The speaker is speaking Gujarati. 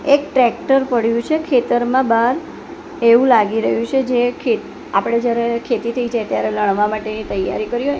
એક ટ્રેક્ટર પડ્યુ છે ખેતરમા બાર એવુ લાગી રહ્યુ છે જે કે આપડે જ્યારે ખેતી થઈ જાય ત્યારે માટેની તૈયારી કરી હોય--